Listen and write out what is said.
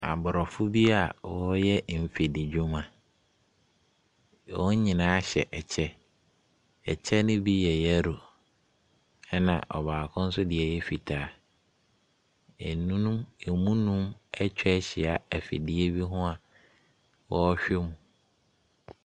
Abrɔfo bi a ɔreyɛ nfidi dwuma. Wɔn nyinaa kyɛ ɛkyɛ. Ɛkyɛ no bi yɛ yellow ɛna ɔbaako nso deɛ yɛ fitaa. Ɛnum emu nnum ɛtwa ɛhyia ɛfidie bi ho ɔrehwɛ mu.